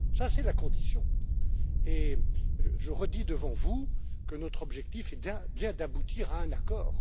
C'est la condition et je redis devant vous que notre objectif est bien d'aboutir à un accord.